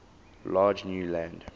large new land